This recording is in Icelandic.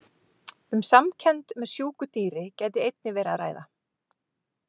Um samkennd með sjúku dýri gæti einnig verið að ræða.